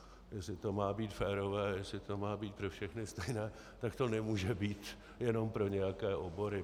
Jestli to má být férové, jestli to má být pro všechny stejné, tak to nemůže být jenom pro nějaké obory.